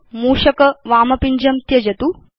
अधुना मूषकस्य वाम पिञ्जं त्यजतु